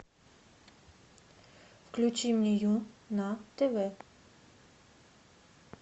включи мне ю на тв